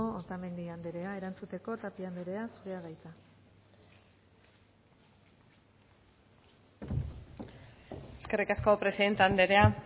otamendi andrea erantzuteko tapia andrea zurea da hitza eskerrik asko presidente andrea